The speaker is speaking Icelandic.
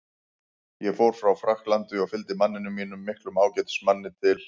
Ég fór frá Frakklandi og fylgdi manninum mínum, miklum ágætismanni, til